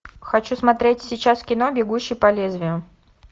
хочу смотреть сейчас кино бегущий по лезвию